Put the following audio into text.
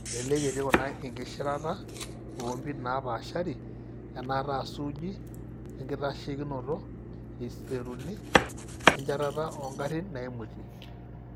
Elelek etii kuna inkishirata oompit napaashari; enaata suuji oenkitasheikinoto; iseizureni; oenchetata oongarin naimutie.